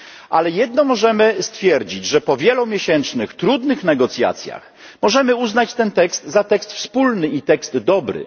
Ale jedno możemy stwierdzić, że po wielomiesięcznych trudnych negocjacjach możemy uznać ten tekst za tekst wspólny i tekst dobry.